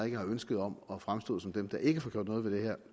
ikke har ønske om at fremstå som dem der ikke får gjort noget ved det her